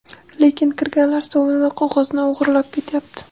Lekin kirganlar sovun va qog‘ozni o‘g‘irlab ketyapti.